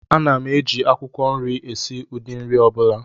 Ana m eji akwukwo nri esi ụdị nri ọ bụla